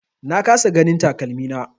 Na kasa ganin takalmina.